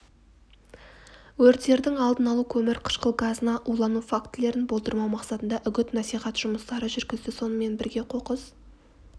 өрттердің алдын алу қөмір-қышқыл газына улану фактілерін болдырмау мақсатында үгіт-насихат жұмыстары жүргізді сонымен бірге қоқыс